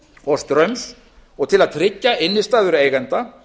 og straums og til að tryggja innistæður eigenda